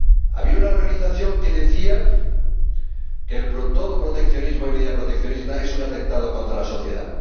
Había una organización que decía que todo proteccionismo y medida proteccionista es un atentado contra la sociedad.